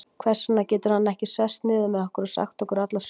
Hvers vegna getur hann ekki sest niður með okkur og sagt okkur alla söguna?